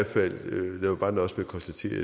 bare nøjes med at konstatere at